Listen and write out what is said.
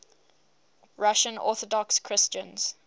russian orthodox christians